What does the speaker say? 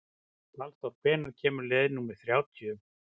Valþór, hvenær kemur leið númer þrjátíu?